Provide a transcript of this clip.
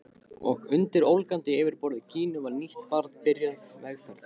Og undir ólgandi yfirborði Gínu var nýtt barn byrjað vegferð.